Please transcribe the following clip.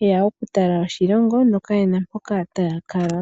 ye ya okutala oshilongo nokaye na mpoka taya kala.